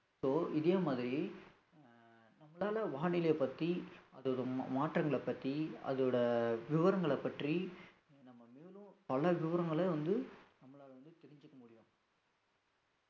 so இதே மாதிரி அஹ் நம்மளால வானிலை பத்தி அதோட மா~ மாற்றங்களைப் பத்தி அதோட விவரங்களைப் பற்றி நம்ம மேலும் பல விவரங்களை வந்து நம்மளால வந்து தெரிஞ்சுக்க முடியும்